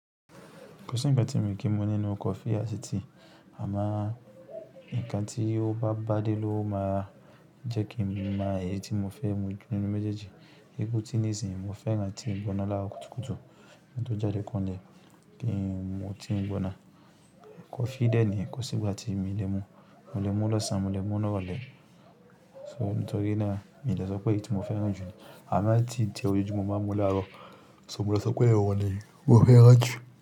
Kò sí ǹkan tí mo kí mo nínú coffee àti tea, àmá ǹkan tí ó bá bá dé ló máa jẹ́ kí n máa mọ èyí tí mo fẹ́ mu nínú méjèèjì. Iku tí nísinsìnyí mo fẹ́ràn tí mo ń bọ́nà lára kúkúkù. Ìgbà tó jáde kan lè kí mo ti ń bọ́nà coffee dẹ́ni, kò sí ìgbà tí mi lè mu, mo lè mu lọ́sàn án, mo lè mu lọ́rùn ẹ. So nitori náà, mi lè sọ pé èyí tí mo fẹ́ràn jù ni. Àmá tí ǹjẹ́ ojoju mo máa n mu láàárọ̀, so mo lè sọ pé ọ̀wọ́n ni mo fẹ́ràn jù.